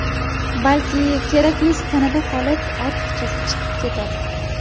Balki, keraklisi tanada qolib, ortiqchasi chiqib ketadi.